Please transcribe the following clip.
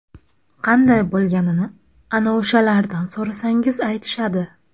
Qanday bo‘lganini ana o‘shalardan so‘rasangiz aytishadi.